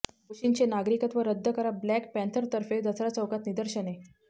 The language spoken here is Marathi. दोषींचे नागरिकत्व रद्द करा ः ब्लॅक पँथरतर्फे दसरा चौकात निदर्शने